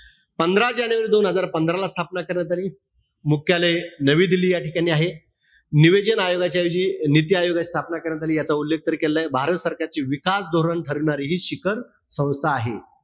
पंधरा जानेवारी दोन हजार पंधरा ला स्थापना करण्यात आली. मुख्यालय नवी दिल्ली या ठिकाणी आहे. निययोजन आयोगाच्या ऐवजी नीती आयोगाची स्थापना करण्यात आली. याचा उल्लेख तरी केलेला आहे. भारत सरकारची विकास धोरण ठरविणारी हि शिखर संस्था आहे.